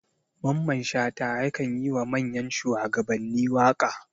Mamman shata yakan yi wa manyan shuwagabanni waka.